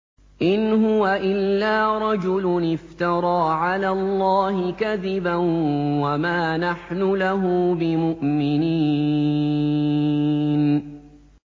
إِنْ هُوَ إِلَّا رَجُلٌ افْتَرَىٰ عَلَى اللَّهِ كَذِبًا وَمَا نَحْنُ لَهُ بِمُؤْمِنِينَ